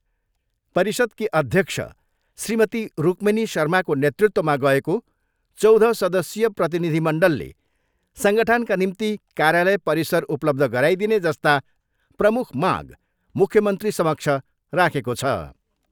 परिषदकी अध्यक्ष श्रीमती रुकमिनी शर्माको नेतृत्वमा गएको चौध सदस्यीय प्रतिनिधिमण्डलले सङ्गठनका निम्ति कार्यलय परिसर उपलब्ध गराइदिने जस्ता प्रमुख माग मुख्यमन्त्री समक्ष राखेको छ।